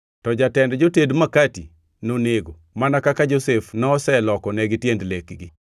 to jatend joted makati nonego, mana kaka Josef noselokonegi tiend lekgi.